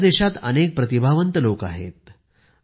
आमच्या देशात अनेक प्रतिभावंत लोक आहेत